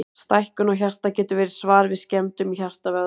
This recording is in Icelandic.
Stækkun á hjarta getur verið svar við skemmdum í hjartavöðvanum.